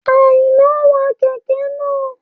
Àìná wa kẹ̀kẹ́ naa